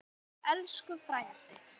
Elsku frændi.